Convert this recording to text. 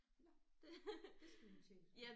Nåh det skal vi have tjekket